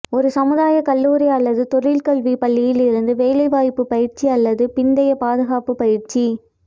ஒரு சமுதாய கல்லூரி அல்லது தொழிற்கல்வி பள்ளியில் இருந்து வேலைவாய்ப்பு பயிற்சி அல்லது பிந்தைய பாதுகாப்பு பயிற்சி